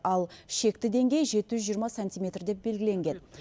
ал шекті деңгей жеті жүз жиырма сантиметр деп белгіленген